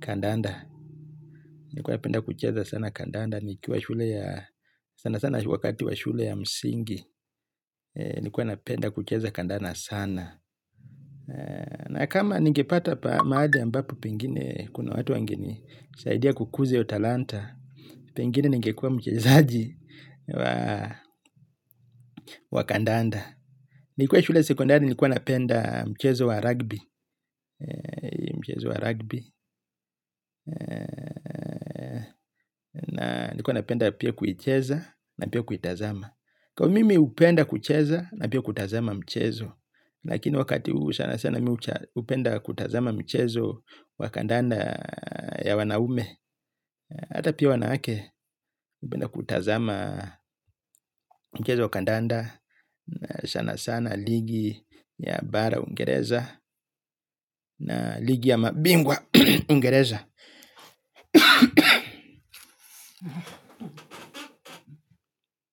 kandanda. Nlikuwa napenda kucheza sana kandanda. Nikiwa shule ya, sana sana wakati wa shule ya msingi. Nlikuwa napenda kucheza kandanda sana. Na kama ningepata mahali ambapo pengine, kuna watu wangenisaidia kukuze hiyo talanta, pengine ngekua mchezaji wa kandanda. Nikiwa shule sekondari nilikuwa napenda mchezo wa rugby. Mchezo wa rugby nilikuwa napenda pia kuicheza na pia kuitazama, kwa mimi upenda kucheza na pia kuitazama mchezo. Lakini wakati huu hupenda kutazama mchezo wa kandanda ya wanaume. Hata pia wanawake napenda kutazama mchezo wa kandanda. Sana sana ligi ya bara Uingereza Na ligi ya mabingwa Uingereza.